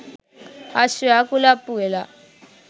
අශ්වයා කුලප්පු වෙලා